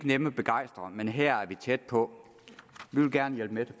nemme at begejstre men her er vi tæt på vi vil gerne hjælpe